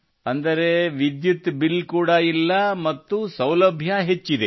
ಅಂದರೆ ವಿದ್ಯುತ್ ಬಿಲ್ ಕೂಡ ಇಲ್ಲ ಮತ್ತು ಸೌಲಭ್ಯ ಹೆಚ್ಚಿದೆ